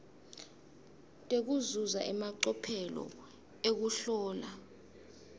tekuzuza emacophelo ekuhlola